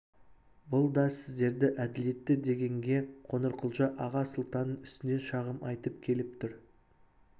бұл да сіздерді әделетті дегенге қоңырқұлжа аға сұлтанның үстінен шағым айтып келіп тұр